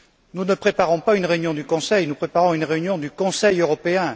Nous ne préparons pas une réunion du Conseil, nous préparons une réunion du Conseil européen.